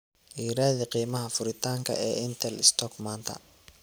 i raadi qiimaha furitaanka ee intel stock maanta